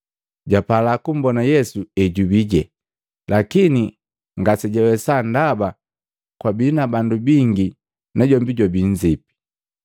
Japala kumbona Yesu ejubije, lakini ngasejawesa ndaba kwabii na bandu bingi najombi jwabii nzipi.